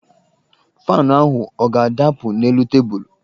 Faanụ ahụ ọ ga-adapụ n'elu tebụlụ?